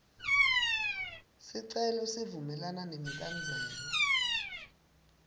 sicelo sivumelana nemibandzela